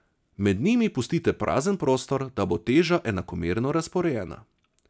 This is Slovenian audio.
Med njimi pustite prazen prostor, da bo teža enakomerno razporejena.